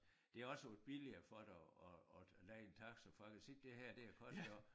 Det også billigere for dig at at leje en taxa for jeg kan se det her det har kostet dig